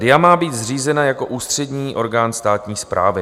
"DIA má být zřízena jako ústřední orgán státní správy".